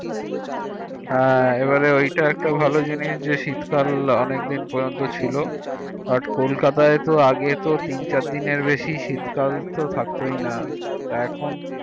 হ্যাঁ এবারে এটা একটা ভালো জিনিস যে শীত কাল আনকেদিন পর্যন্ত ছিলো But in Kolkata আগে তো তিন চার দিন এর বেশি শীত কাল তো থাকতোই না তা এখন